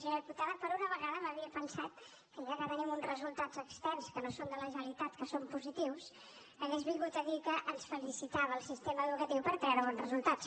senyora diputada per una vegada m’havia pensat que ja que tenim uns resultats externs que no són de la generalitat que són positius hauria vingut a dir que ens felicitava al sistema educatiu per treure bons resultats